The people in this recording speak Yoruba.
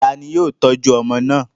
Ta ni yóò tọ́jú ọmọ náà?